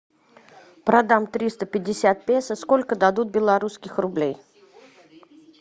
продам триста пятьдесят песо сколько дадут белорусских рублей